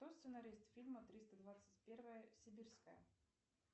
кто сценарист фильма триста двадцать первая сибирская